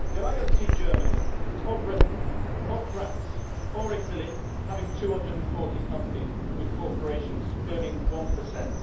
yet I do not see Germany or Britain or France or Italy having 240 companies with corporations earning one per cent.